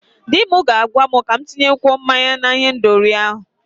Di m ga na-agwa m ka m tinyekwuo mmanya na ihendori.